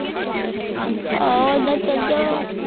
ਆਹੋ ਏਦਾਂ ਚਲ ਜਾ